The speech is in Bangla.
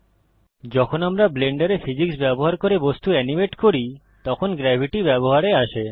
যখন আমরা ব্লেন্ডারে ফিজিক্স ব্যবহার করে বস্তু এনিমেট করি তখন গ্রেভিটি ব্যবহারে আসে